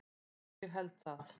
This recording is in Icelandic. Já, ég held það